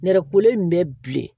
Nɛrɛkolen in bɛ bilen